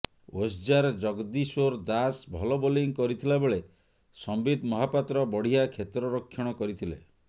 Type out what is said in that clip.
ଓସ୍ଜାର ଜଗଦୀଶ୍ୱର ଦାସ ଭଲ ବୋଲିଂ କରିଥିଲା ବେଳେ ସମ୍ବିତ ମହାପାତ୍ର ବଢ଼ିଆ କ୍ଷେତ୍ରରକ୍ଷଣ କରିଥିଲେ